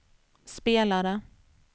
spelade